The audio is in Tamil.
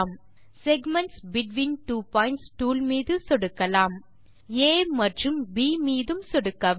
segments between two points tool மீது சொடுக்கலாம் ஆ மற்றும் ப் மீதும் சொடுக்கவும்